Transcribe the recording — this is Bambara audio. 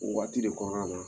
O waati de kɔnɔna na